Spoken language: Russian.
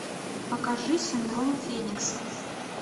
покажи синдром феникса